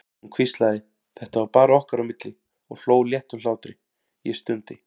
Hún hvíslaði, þetta var bara okkar á milli, og hló léttum hlátri, ég stundi.